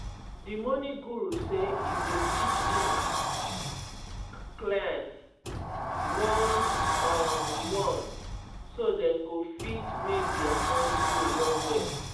di money guru say e go teach hin [um]clients one on one so dem go fit make dia money grow well well.